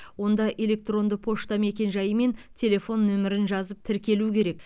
онда электронды пошта мекенжайы мен телефон нөмірін жазып тіркелу керек